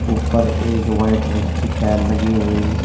ऊपर एक वाइट रंग की टाइल लगी हुई--